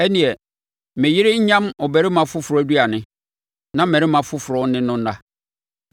ɛnneɛ, me yere nyam ɔbarima foforɔ aduane, na mmarima afoforɔ ne no nna.